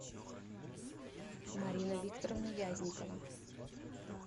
марина викторовна вязникова